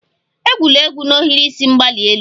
Egwula egwu n'ohiri isi mgbali elu!